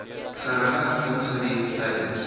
geringe ongerief tydens